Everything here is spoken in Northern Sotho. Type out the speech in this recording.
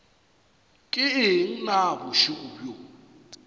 ke eng na bošego bjo